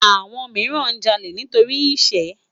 Awòn mirán jàlé nitóri iṣë